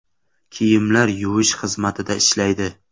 Kiyimlar yuvish xizmatida ishlaydi.